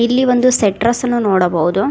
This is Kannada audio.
ಇಲ್ಲಿ ಒಂದು ಸೆಟ್ರಾಸ್ ಅನ್ನ ನೋಡಬಹುದು.